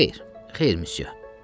Xeyr, xeyr, missyu.